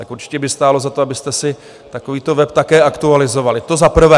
Tak určitě by stálo za to, abyste si takovýto web také aktualizovali, to za prvé.